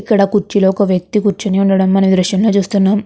ఇక్కడ కుర్చీలో ఒక వ్యక్తి కూర్చుని ఉండడం మనం ఈ దృశ్యం లో చూస్తున్నాం.